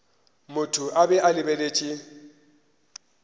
motho a be a lebeletše